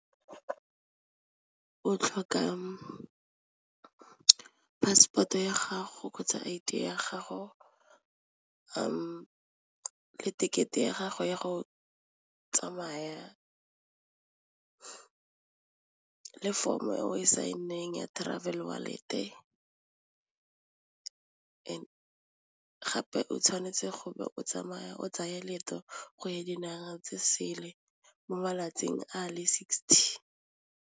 O tlhoka passport-o ya gago kgotsa I_D ya gago le tekete ya gago ya go tsamaya le form e o e sign-eng ya travel gape o tshwanetse go be o tsamaya o tsaya leeto go ya dinaga tse sele mo malatsing a le sixty.